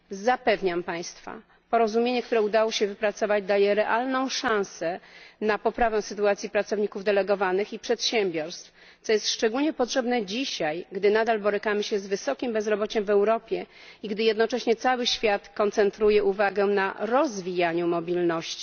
Zapewniam Państwa, porozumienie, które udało się wypracować daje realną szansę na poprawę sytuacji pracowników delegowanych i przedsiębiorstw, co jest szczególnie potrzebne dzisiaj, gdy nadal borykamy się z wysokim bezrobociem w Europie i gdy jednocześnie cały świat koncentruje uwagę na rozwijaniu mobilności.